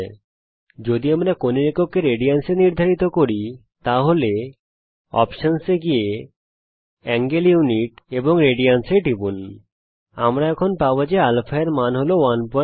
এখানে অপশন এ গিয়ে এবং কোণের একককে রেডিয়ানস এ সংজ্ঞায়িত করে যদি আমরা কোণের একককে রেডিয়ানস এ নির্ধারিত করি আমরা এখন পাবো যে α র মান 117 Rad